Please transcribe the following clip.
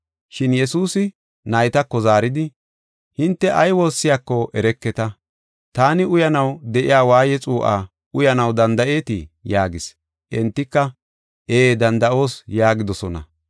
Shin Yesuusi naytako zaaridi, “Hinte ay woossiyako ereketa; taani uyanaw de7iya waaye xuu7aa uyanaw danda7eetii?” yaagis. Entika, “Ee danda7oos” yaagidosona.